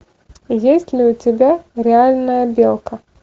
есть ли у тебя реальная белка